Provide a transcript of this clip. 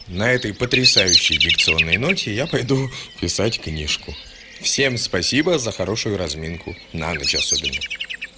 на этой потрясающей дикционной ноте я пойду писать книжку всем спасибо за хорошую разминку на ночь особенно